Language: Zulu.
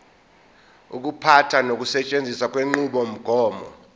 ukuphatha nokusetshenziswa kwenqubomgomo